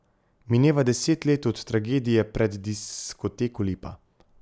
Mineva deset let od tragedije pred diskoteko Lipa.